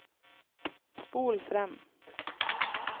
spol frem